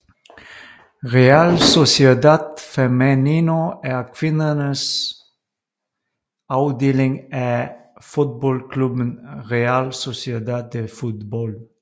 Real Sociedad Femenino er kvindernes afdeling af fodboldklubben Real Sociedad de Fútbol